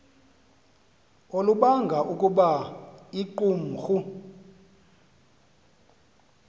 olubanga ukuba iqumrhu